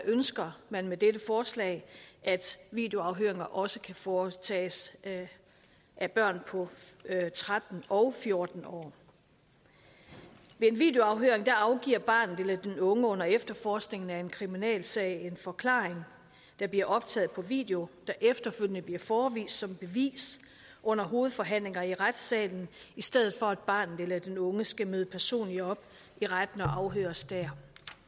ønsker man med dette forslag at videoafhøringer også kan foretages af børn på tretten og fjorten år ved en videoafhøring afgiver barnet eller den unge under efterforskningen af en kriminalsag en forklaring der bliver optaget på video der efterfølgende bliver forevist som bevis under hovedforhandlinger i retssalen i stedet for at barnet eller den unge skal møde personligt op i retten og afhøres der